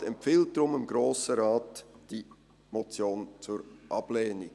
Der Regierungsrat empfiehlt dem Grossen Rat deshalb diese Motion zur Ablehnung.